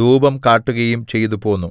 ധൂപം കാട്ടുകയും ചെയ്തുപോന്നു